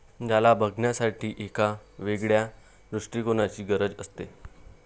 ज्याला बघण्यासाठी एका वेगळ्या दृष्टीकोणाची गरज असते.